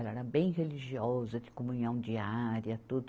Ela era bem religiosa, de comunhão diária, tudo.